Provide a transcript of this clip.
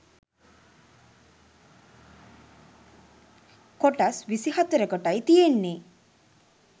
කොටස් විසි හතරකටයි තියෙන්නේ